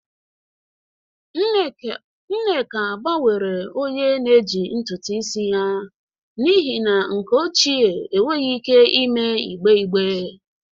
Nneka gbanwere onye na-eji ntutu isi ya n'ihi na nke ochie enweghị ike ime igbe igbe